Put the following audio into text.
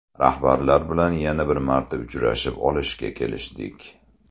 Rahbarlar bilan yana bir marta uchrashib olishga kelishdik.